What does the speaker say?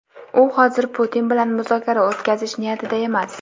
u hozir Putin bilan muzokara o‘tkazish niyatida emas.